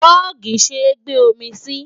Jọ́ọ̀gì ṣé gbe omi sí.